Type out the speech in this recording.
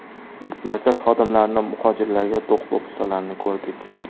Markaz xodimlarining muhojirlarga do‘q-po‘pisalarini ko‘rdik.